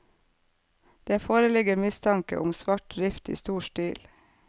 Det foreligger mistanke om svart drift i stor stil.